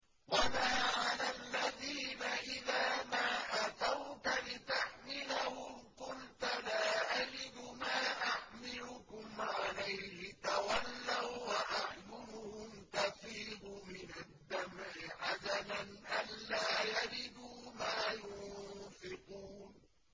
وَلَا عَلَى الَّذِينَ إِذَا مَا أَتَوْكَ لِتَحْمِلَهُمْ قُلْتَ لَا أَجِدُ مَا أَحْمِلُكُمْ عَلَيْهِ تَوَلَّوا وَّأَعْيُنُهُمْ تَفِيضُ مِنَ الدَّمْعِ حَزَنًا أَلَّا يَجِدُوا مَا يُنفِقُونَ